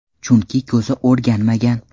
Chunki ko‘zi o‘rganmagan.